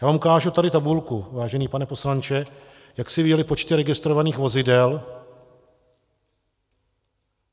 Já vám ukážu tady tabulku, vážený pane poslanče, jak se vyvíjely počty registrovaných vozidel.